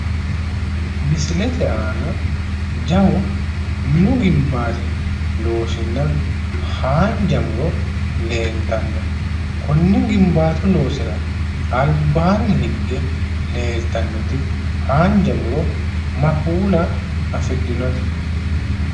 Misilete aana jawu minu gimbaati loosinna haanja muro leeltanno. Konni gimbaatu loosiira albaanni higge leeltannoti haanja muro ma kuula afidhinote?